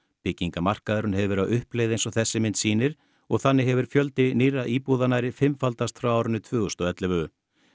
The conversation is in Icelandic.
byggingamarkaðurinn hefur verið á uppleið eins og þessi mynd sýnir og þannig hefur fjöldi nýrra íbúða nærri fimmfaldast frá árinu tvö þúsund og ellefu